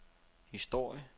historie